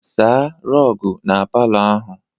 Saa rọgụ na palọ ahụ!